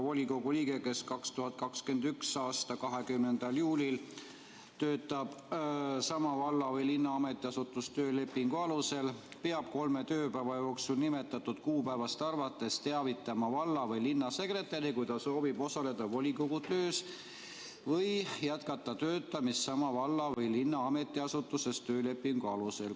Volikogu liige, kes 2021. aasta 20. juulil töötab sama valla või linna ametiasutuses töölepingu alusel, peab kolme tööpäeva jooksul nimetatud kuupäevast arvates teavitama valla‑ või linnasekretäri, kui ta soovib osaleda volikogu töös või jätkata töötamist sama valla või linna ametiasutuses töölepingu alusel.